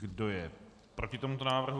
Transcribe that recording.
Kdo je proti tomuto návrhu?